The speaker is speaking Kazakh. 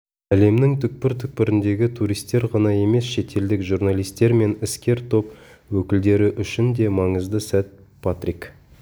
лемнің түкпір-түкпіріндегі туристер ғана емес шетелдік журналистер мен іскер топ өкілдері үшін де маңызды сәт патрик